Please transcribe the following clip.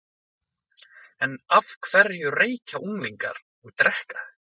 En af hverju reykja unglingar og drekka?